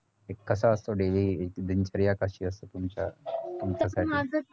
एक कसा असतो daily एकदिन क्रिया कशी असते तुमच्या तुमच्याकडे